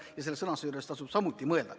Ja selle sõnastuse üle tasub samuti mõelda.